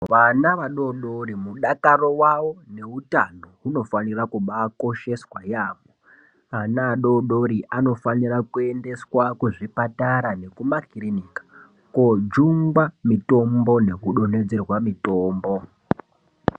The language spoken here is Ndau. Vana vadodori mudakaro wavo neutano hunofanira kubaakosheswa yaamho. Ana adododori anofanira kuendeswa kuzvipatara nekumakirinika koojungwa mitombo, nekudonhedzerwa mitombo.